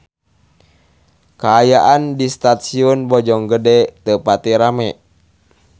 Kaayaan di Stasiun Bojonggede teu pati rame